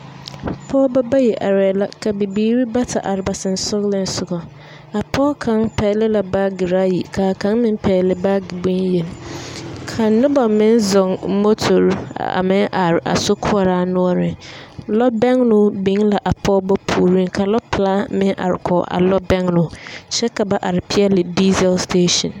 Pɔgeba bayi arɛɛ la, ka bibiiri bata are ba sensɔgɔlensogɔ. A pɔge kaŋ pɛgele la baageraayi kaa kaŋ meŋ pɛgele baage bonyeŋ. Ka noba meŋ zɔŋ motori a meŋ are a sokoɔraa noɔreŋ. Lɔbɛgloo be la a Pɔgeba puoriŋ ka lɔpelaa meŋ are kɔge a lɔbɛgloo, kyɛ Ka ba are peɛle diizɛl setasen.